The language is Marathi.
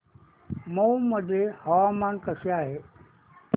मौ मध्ये हवामान कसे आहे